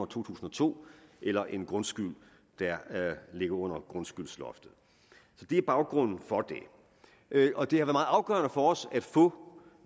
tusind og to eller en grundskyld der ligger under grundskyldsloftet så det er baggrunden for det og det har afgørende for os at få